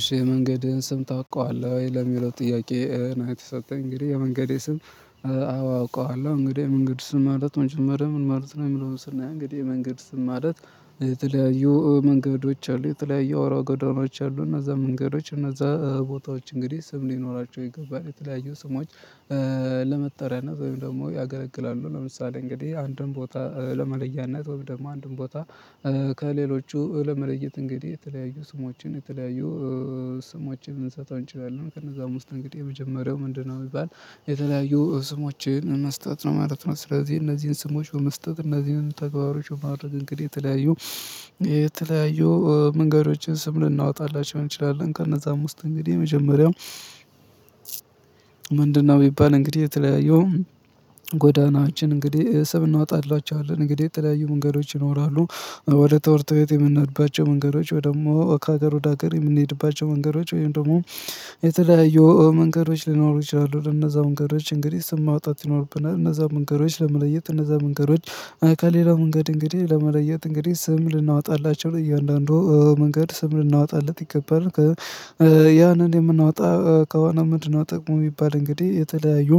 እሺ መንገድህን ስም ታውቀዋለህ ወይ? ለሚለው ጥያቄ የተሰጠኝ እንግዲህ የመንገዴ ስም። አውቀዋለሁ እንግዲህ የመንገድ ስም ማለት መጀመሪያ ምን ማለት ነው? የምለው ስናይ እንግዲህ የመንገድ ስም ማለት የተለያዩ መንገዶች አሉ የተለያዩ አዋራ ጎዳናዎች አሉ እነዛ መንገዶች እነዛ ቦታዎች እንግዲህ ስም ሊኖራቸው ይገባል የተለያዩ ስሞች። ለመጠሪያ ነው ወይም ደግሞ ያገለግላሉ ለምሳሌ እንግዲህ አንድን ቦታ ለመለያነት ወይም ደግሞ አንድን ቦታ። ከሌሎቹ ለመለየት እንግዲህ የተለያዩ ስሟችን የተለያዩ ስሟችን ልንሰጠው እንችላለን ከነዛም ውስጥ እንግዲህ የመጀመሪያው ምንድነው? የሚባል የተለያዩ ስሞችን መስጠት ነው ማለት ነው። ስለዚህ እነዚህን ስሞች በመስጠት እነዚህን ተግባሮች ማድረግ እንግዲህ የተለያዩ የተለያዩ መንገዶችን ስም ልናወጣላቸው እንችላለን። ከነዛም ውስጥ እንግዲህ የመጀመሪያው ምንድነው? የሚባል እንግዲህ የተለያየው ጎዳናችን እንግዲህ ስም እናወጣላችኋለን እንግዲህ የተለያዩ መንገዶች ይኖራሉ። ወደ ተወርተው የምንሄድባቸው መንገዶች ወይ ደግሞ ከሀገር ወደ ሀገር የምንሄድባቸው መንገዶች ወይም ደግሞ የተለያየው መንገዶች ሊኖሩ ይችላሉ። ለነዛ መንገዶች እንግዲህ ስም ማውጣት ይኖሩብናል እነዛው መንገዶች ለመለየት እነዛው መንገዶች ከሌላው መንገድ እንግዲህ ለመለየት እንግዲህ ስም ልናወጣላቸው ለእያንዳንዱ መንገድ ስም ልናወጣለት ይገባል። ያንን የምናወጣ ከሆነ ምንድነው? ጠቅሙ የሚባል እንግዲህ የተለያዩ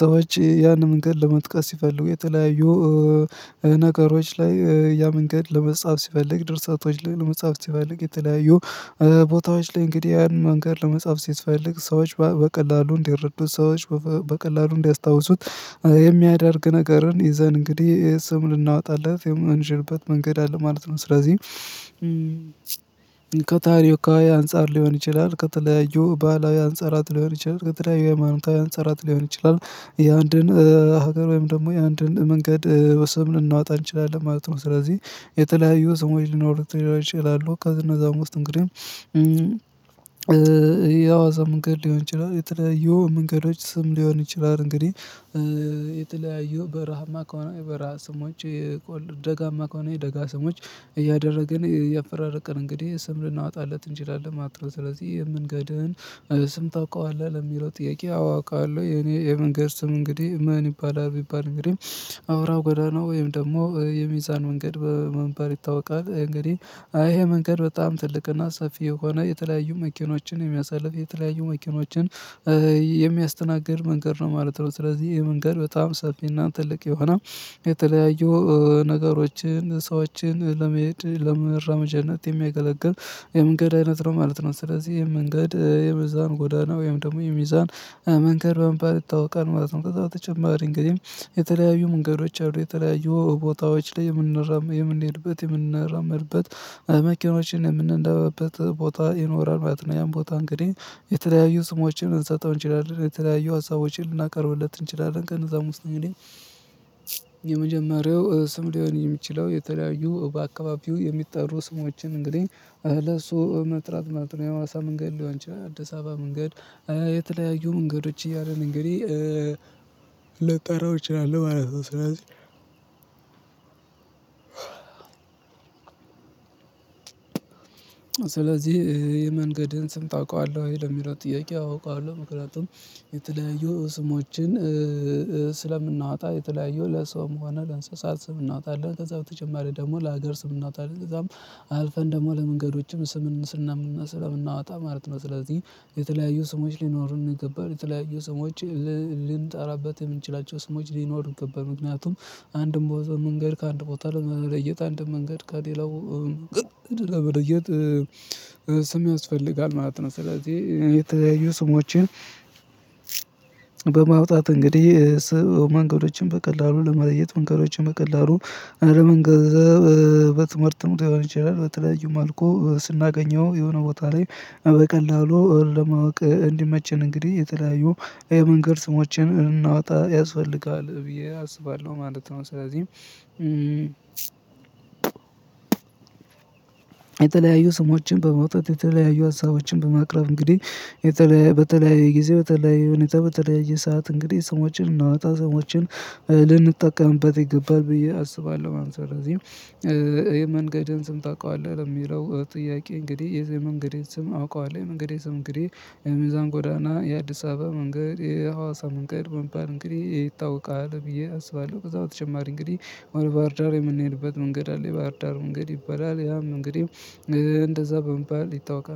ሰዎች ያንን መንገድ ለመጥቀስ ሲፈልጉ የተለያዩ ነገሮች ላይ ያ መንገድ ለመጻፍ ሲፈልግ ድርሰቶች ላይ ለመጻፍ ሲፈልግ የተለያዩ ቦታዎች ላይ እንግዲህ ያን መንገድ ለመጻፍ ሲፈልግ ሰዎች በቀላሉ እንዲረዱት ሰዎች በቀላሉ እንዲያስታውሱት የሚያደርግ ነገርን ይዘን እንግዲህ ስም ልናወጣለት የምንሽርበት መንገድ አለ ማለት ነው። ስለዚህ ከታሪካዊ አንፃር ሊሆን ይችላል ከተለያዩ ባህላዊ አንፃራት ሊሆን ይችላል ከተለያዩ ሃይማኖታዊ አንፃር ሊሆን ይችላል። የአንድን ሀገር ወይም ደግሞ የአንድን መንገድ ወሰን ልናወጣ እንችላለን ማለት ነው። ስለዚህ የተለያዩ ስሞች ሊኖሩት ይችላሉ። ከእነዛም ውስጥ እንግዲህ የአዋዛ መንገድ ሊሆን ይችላል። የተለያዩ መንገዶች ስም ሊሆን ይችላል። እንግዲህ የተለያዩ በረሃማ ከሆነ በረሃ ስሞች። የቆልድ ደጋማ ከሆነ የደጋ ስሞች። እያደረግን እያፈራረቀን እንግዲህ ስም ልናወጣለት እንችላለን ማለት ነው። ስለዚህ ምንገድህን ስም ታውቀዋለህ? ለሚለው ጥያቄ አዎ አውቀዋለሁ የኔ የመንገድ ስም እንግዲህ ምን ይባላል ቢባል እንግዲህ አውራው ጎዳ ነው። ወይም ደግሞ የሚዛን መንገድ በመባል ይታወቃል እንግዲህ አይ ይሄ መንገድ በጣም ትልቅ እና ሰፊ የሆነ የተለያዩ መኪኖችን የሚያሳልፍ የተለያዩ መኪኖችን የሚያስተናግድ መንገድ ነው ማለት ነው። ስለዚህ ይሄ መንገድ በጣም ሰፊ እና ትልቅ የሆነ የተለያዩ ነገሮችን ሰዎችን ለመሄድ ለመራመጃነት የሚያገለግል የመንገድ አይነት ነው ማለት ነው። ስለዚህ ይሄን መንገድ የሚዛን ጎዳና ወይም ደግሞ የሚዛን መንገድ በምባል ይታወቃል ማለት ነው። በጣም ተጨማሪ እንግዲህ የተለያዩ መንገዶች አሉ። የተለያዩ ቦታዎች ላይ የምንሄድበት የምንራመድበት መኪኖችን የምንነዳበት ቦታ ይኖራል ማለት ነው። ያን ቦታ እንግዲህ የተለያዩ ስሞችን ልንሰጠው እንችላለን የተለያዩ ሀሳቦችን ልናቀርብለት እንችላለን ከነዛ ውስጥ እንግዲህ የመጀመሪያው ስም ሊሆን የሚችለው የተለያዩ በአካባቢው የሚጠሩ ስሞችን እንግዲህ ለሱ መጥራት ማለት ነው። የሀዋሳ መንገድ ሊሆን ይችላል አዲስ አበባ መንገድ የተለያዩ መንገዶች እያሉ እንግዲህ ልጠራው እችላለሁ ማለት ነው። ስለዚህ ስለዚህ የመንገድን ስም ታውቃለህ ወይ? ለሚለው ጥያቄ አውቃለሁ። ምክንያቱም የተለያዩ ስሞችን ስለምናወጣ የተለያየው ለሰውም ሆነ ለእንስሳት ስም እናወጣለን ከዛ በተጨማሪ ደግሞ ለሀገር ስም እናውጣለን ከዛም አልፈን ደግሞ ለመንገዶችም ስም ስለምናወጣ ማለት ነው። ስለዚህ የተለያዩ ስሞች ሊኖሩን ይገባለ የተለያዩ ስሞች ልንጠራበት የምንችላቸው ስሞች ሊኖሩ ይገባል። ምክንያቱም አንድን ቦታ መንገድ ከአንድ ቦታ ለመለየት አንድም መንገድ ከሌላው ለመለየት ስም ያስፈልጋል ማለት ነው። ስለዚህ የተያዩ ስሞችን በማውጣት እንግዲህ መንገዶችን በቀላሉ ለመለየት መንገዶችን በቀላሉ አለመንገ በትምህርትም ሊሆን ይችላል። በተለያዩ መልኩ ስናገኘው የሆነ ቦታ ላይ በቀላሉ ለማወቅ እንዲመቸን እንግዲህ የተለያዩ የመንገድ ስሞችን ልናውጣ ያስፈልጋል ብዬ አስባለሁ ማለት ነው። ስለዚህም የተለያዩ ስሞችን በማውጣት የተለያዩ አሳቦችን በማቅረብ እንግዲህ በተለያየ ጊዜ በተለያየ ሁኔታ በተለያየ ሰዓት እንግዲህ ስሞችን ልናወጣ ስሞችን ልንጠቀምበት ይገባል ብዬ አስባለሁ ማለት ነው። ስለዚህ የመንገድህን ስም ታውቃለህ? የሚለው ጥያቄ እንግዲህ የዚህ መንገድ ስም አውቀዋለሁ እንግዲህ ስም እንግዲህ የሚዛን ጎዳና የአዲስ አበባ መንገድ የሀዋሳ መንገድ በመባል እንግዲህ ይታወቃል ብዬ አስባለሁ ከዛ በተጨማሪ እንግዲህ ባህር ዳር የምንሄድበት መንገድ አለ ባህር ዳር መንገድ ይባላል ያም እንግዲህ እንደዛ በመባል ይታወቃል